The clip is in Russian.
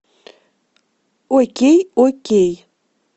окей окей